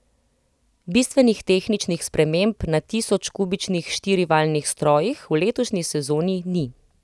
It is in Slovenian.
Bistvenih tehničnih sprememb na tisoč kubičnih štirivaljnih strojih v letošnji sezoni ni.